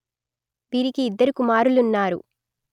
వీరికి ఇద్దరు కుమారులున్నారు